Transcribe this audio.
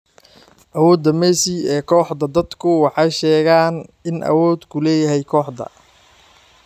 Awooda Messi ee kooxda Dadku waxay sheegaan inuu awood ku leeyahay kooxda.